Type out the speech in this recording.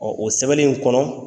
Ɔ o sɛbɛni in kɔnɔ.